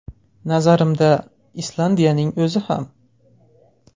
Nazarimda, Islandiyaning o‘zi ham.